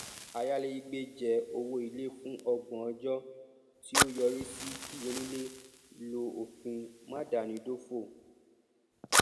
ayálégbé jẹ owó ilé fún ọgbọn ọjọ tí ó yọrí sí kí onílé lo òfin máadámidófò